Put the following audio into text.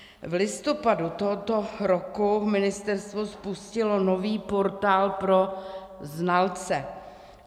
V listopadu tohoto roku ministerstvo spustilo nový portál pro znalce.